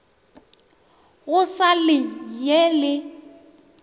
go sa le ye le